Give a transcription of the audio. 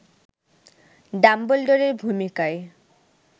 ডাম্বলডোরের ভূমিকায়